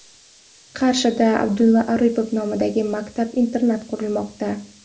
Qarshida Abdulla Oripov nomidagi maktab-internat qurilmoqda.